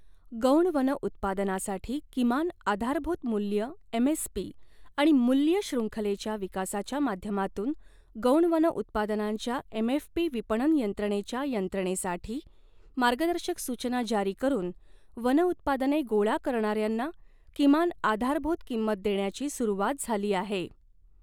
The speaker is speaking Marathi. गौण वन उत्पादनासाठी किमान आधारभूत मूल्य एमएसपी आणि मूल्य शृंखलेच्या विकासाच्या माध्यमातून गौण वन उत्पादनांच्या एमएफपी विपणन यंत्रणेच्या यंत्रणेसाठी मार्गदर्शक सूचना जारी करून वन उत्पादने गोळा करणार्यांना किमान आधारभूत किंमत देण्याची सुरूवात झाली आहे.